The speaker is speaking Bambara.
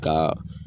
Ka